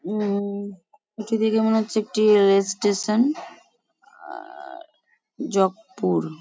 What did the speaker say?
উম এটি দেখে মনে হচ্ছে একটি রেল স্টেশন আর-অ জকপুর।